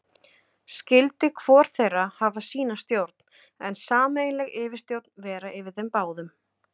Skyldi hvor þeirra hafa sína stjórn, en sameiginleg yfirstjórn vera yfir þeim báðum.